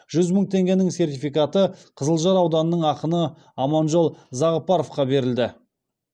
жүз мың теңгенің сертификаты қызылжар ауданының ақыны аманжол зағыпаровқа берілді